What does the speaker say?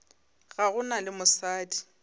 ga go na le mosadi